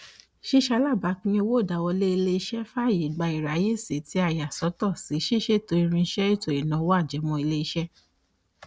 ṣíṣe alábàápín owó ìdáwọlé iléeṣé fàyè gba ìráyèsí tí a yà sọtọ sí ṣíṣètò irinṣẹ ètò ìnáwó ajẹmọiléeṣẹ